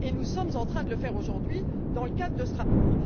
Nous sommes en train de le faire aujourd'hui dans le cadre de ce rapport.